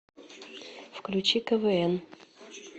включи квн